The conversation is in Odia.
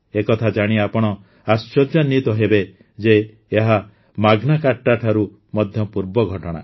ଏ କଥା ଜାଣି ଆପଣ ଆଶ୍ଚର୍ଯ୍ୟାନ୍ୱିତ ହେବେ ଯେ ଏହା ମାଗ୍ନା କାର୍ଟା ଠାରୁ ମଧ୍ୟ ପୂର୍ବ ଘଟଣା